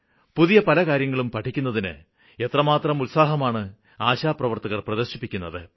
പുതിയ പല കാര്യങ്ങളും പഠിക്കുന്നതിന് എത്രമാത്രം ഉത്സാഹമാണ് ആശാപ്രവര്ത്തകര് പ്രദര്ശിപ്പിക്കുന്നത്